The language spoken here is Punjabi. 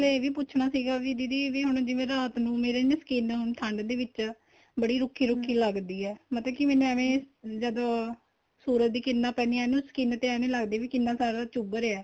ਨਾਲੇ ਏ ਵੀ ਪੁੱਛਣਾ ਸੀਗਾ ਮੈਂ ਦੀਦੀ ਵੀ ਜਿਵੇਂ ਹੁਣ ਰਾਤ ਨੂੰ ਮੇਰੇ ਨਾ skin ਠੰਡ ਦੇ ਵਿੱਚ ਬੜੀ ਰੁੱਖੀ ਰੁੱਖੀ ਲੱਗਦੀ ਏ ਮਤਲਬ ਕੀ ਮੈਨੂੰ ਐਵੇ ਜਦੋਂ ਸੂਰਜ ਦੀਆਂ ਕਿਰਨਾ ਪੈਂਦੀਆਂ ਨੇ ਉਹ skin ਇੱਝ ਲੱਗਦਾ ਕੀ ਇੰਨਾ ਸਾਰਾ ਚੁੱਬ ਰਿਹਾ